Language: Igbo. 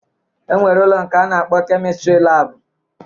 E nwere ụlọ nke a na-akpọ kemịstrị laabụ